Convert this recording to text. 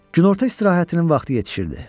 Günorta istirahətinin vaxtı yetişirdi.